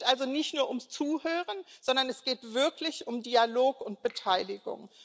Es geht also nicht nur ums Zuhören, sondern es geht wirklich um Dialog und Beteiligung.